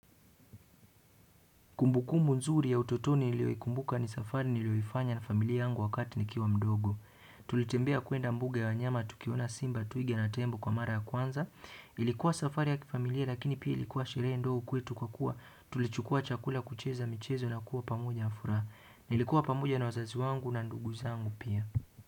Kumbukumbu nzuri ya utotoni niliyoikumbuka ni safari niliyoifanya na familia yangu wakati nikiwa mdogo. Tulitembea kwenda mbuga ya wanyama, tukiona simba, twiga na tembo kwa mara ya kwanza. Ilikuwa safari ya kifamilia lakini pia ilikuwa sherehe ndogo kwetu kwa kuwa. Tulichukua chakula kucheza michezo na kuwa pamoja na furaha. Nilikuwa pamoja na wazazi wangu na ndugu zangu pia.